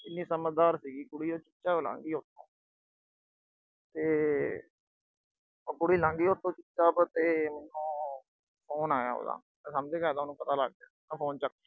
ਇੰਨੀ ਸਮਝਦਾਰ ਸੀਗੀ ਕੁੜੀ, ਚੁੱਪਚਾਪ ਲੰਘਗੀ ਉਥੋਂ। ਤੇ ਉਹ ਕੁੜੀ ਲੰਘਗੀ ਚੁੱਪਚਾਪ ਤੇ ਮੈਨੂੰ phone ਆਇਆ ਉਹਦਾ। ਮੈਂ ਸਮਝ ਗਿਆ ਉਹਨੂੰ ਪਤਾ ਲੱਗ ਗਿਆ। ਮੈਂ phone ਚੱਕ ਲਿਆ।